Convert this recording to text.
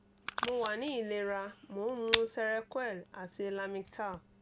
mo wa ni ilera mo n mu serequel ati lamictal